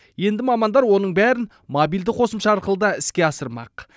енді мамандар оның бәрін мобильді қосымша арқылы да іске асырмақ